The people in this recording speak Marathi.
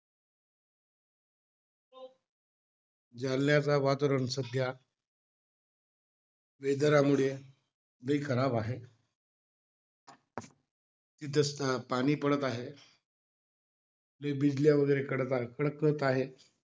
जालन्याचा वातावरण सध्या, weather मुळे लई खराब आहे. इथे पाणी पडत आहे. लई बिजल्या वैगरे कडत कडकत आहे.